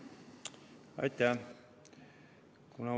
Aitäh!